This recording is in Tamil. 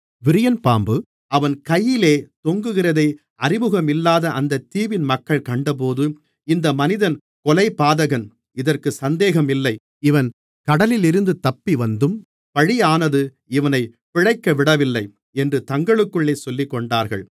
விரியன்பாம்பு அவன் கையிலே தொங்குகிறதை அறிமுகமில்லாத அந்தத் தீவின் மக்கள் கண்டபோது இந்த மனிதன் கொலைபாதகன் இதற்குச் சந்தேகமில்லை இவன் கடலிலிருந்து தப்பிவந்தும் பழியானது இவனைப் பிழைக்க விடவில்லை என்று தங்களுக்குள்ளே சொல்லிக்கொண்டார்கள்